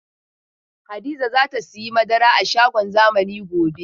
Hadiza za ta sayi madara a shagon zamani gobe.